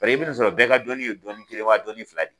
i bɛ nin sɔrɔ bɛɛ ka dɔnni ye dɔnni kelen wa dɔnni fila de.